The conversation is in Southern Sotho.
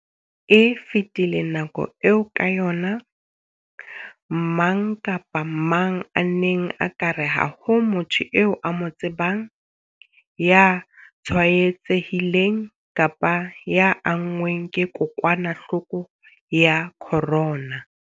E fetile nako eo ka yona mang kapa mang a neng a ka re ha ho motho eo a mo tsebang ya tshwaetsehileng kapa ya anngweng ke kokwanahloko ya corona.